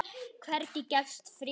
Hvergi gefst friður.